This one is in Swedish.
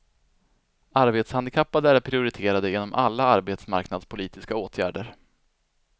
Arbetshandikappade är prioriterade inom alla arbetsmarknadspolitiska åtgärder.